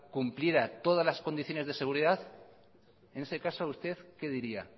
cumplieran todas las condiciones de seguridad en ese caso usted que diría